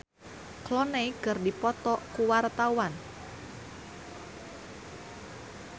Egi John jeung George Clooney keur dipoto ku wartawan